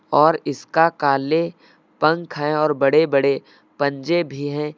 और इसका काले पंख हैं और बड़े बड़े पंजे भी हैं।